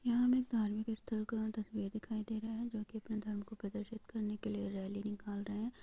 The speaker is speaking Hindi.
यहाँ पे हमें धार्मिक स्थल का तस्वीर दिखाई दे रहा है जो की अपने धर्म को प्रदर्शित करने के लिए रैली निकाल रहे है।